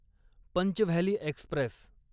Pench Valley Express